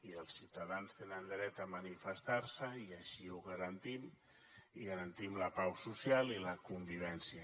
i els ciutadans tenen dret a manifestar se i així ho garantim i garantim la pau social i la convivència